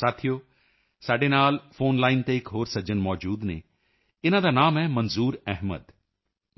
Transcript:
ਸਾਥੀਓ ਅੱਜ ਸਾਡੇ ਨਾਲ ਫੋਨ ਲਾਈਨ ਫੋਨ ਲਾਈਨ ਤੇ ਇਕ ਹੋਰ ਸੱਜਣ ਮੌਜੂਦ ਹਨ ਇਨ੍ਹਾਂ ਦਾ ਨਾਮ ਹੈ ਮੰਜ਼ੂਰ ਅਹਿਮਦ